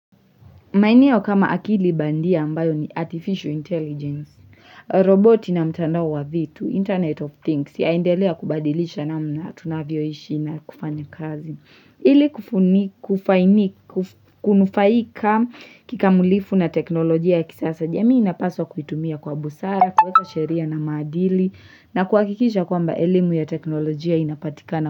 Maeneo kama akili bandia ambayo ni artificial intelligence, roboti na mtandao wa vitu, internet of things, yaendelea kubadilisha namna tunavyoishi na kufanya kazi. Ili kufaini, kufaini, kunufaika kikamulifu na teknolojia ya kisasa jamii inapaswa kuitumia kwa busara, kuweka sheria na maadili na kuakikisha kwamba elimu ya teknolojia inapatikana.